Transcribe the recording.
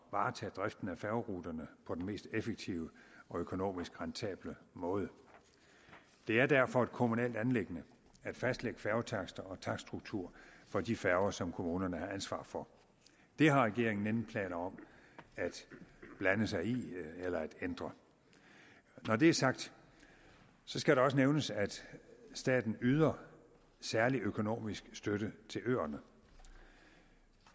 varetage driften af færgeruterne på den mest effektive og økonomisk rentable måde det er derfor et kommunalt anliggende at fastlægge færgetakster og takststruktur for de færger som kommunerne har ansvar for det har regeringen ingen planer om at blande sig i eller ændre når det er sagt skal det også nævnes at staten yder særlig økonomisk støtte til øerne